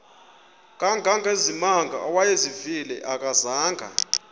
kangangezimanga awayezivile akazanga